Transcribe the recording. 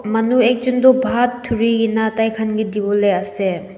manu ekjun toh bhaat durikena thaikhan ke diwole ase.